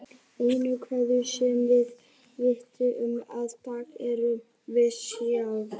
Einu geimverurnar sem við vitum um í dag erum við sjálf.